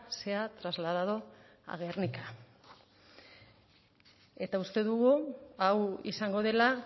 sea trasladado a gernika eta uste dugu hau izango dela